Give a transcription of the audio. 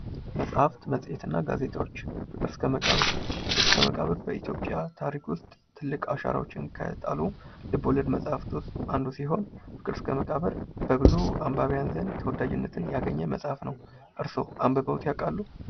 መጻህፍት መጽሔት እና ጋዜጦች ፍቅር እስከ መቃብር ፍቅር እስከ መቃብር በኢትዮጵያ ታሪክ ውስጥ ትልቅ አሻራዎች ከጣሉ ልበ ወለድ መጽሃፍት ውስጥ አንዱ የሆነ ሲሆን ፍቅር እስከ መቃብር በብዙ አንባቢያን ዘንድ ተወዳጅነትን ያገኘ መጽሐፍ ነው። እርስዎ አንብበውት ያውቃሉ?